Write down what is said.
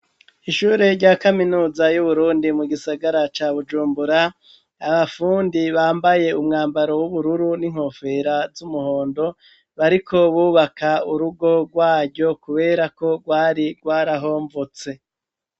Ishure rya kaminuza y'Uburundi mu gisagara ca Bujumbura abafundi bambaye umwambaro w'ubururu n'inkofera z'umuhondo bariko bubaka urugo rwaryo, kubera ko rwari rwarahomvutse.